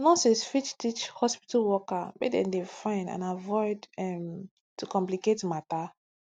nurses fit teach hospitu worker make dem dey fine and avoid um to complicate matter